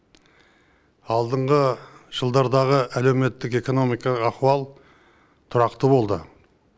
алдыңғы жылдардағы әлеуметтік экономикалық ахуал тұрақты болды